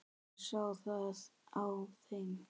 Ég sá það á þeim.